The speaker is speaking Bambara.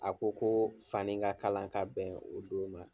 A ko ko fani ka kalan ka bɛn o don ma.